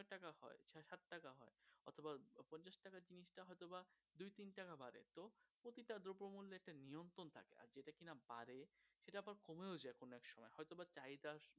কমেও যাই কোনো এক সময় হয়তো বা চাহিদা